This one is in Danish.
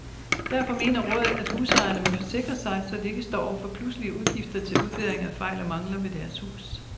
Derfor mener rådet, at husejerne må forsikre sig, så de ikke står over for pludselige udgifter til udbedring af fejl og mangler ved deres hus.